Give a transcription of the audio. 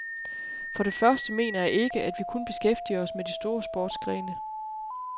For det første mener jeg ikke, at vi kun beskæftiger os med de store sportsgrene.